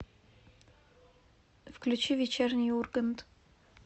включи вечерний ургант